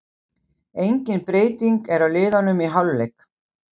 Engin breyting er á liðunum í hálfleik.